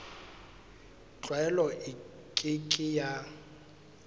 tlwaelo e ke ke ya